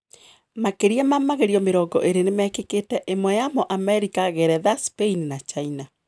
Makiria ma magerio mĩrongo ĩrĩ nimeikikite, imwe yamo Amerika, Geretha, Spaini na China.